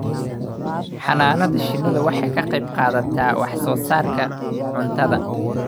Xannaanada shinnidu waxay ka qayb qaadataa wax soo saarka cuntada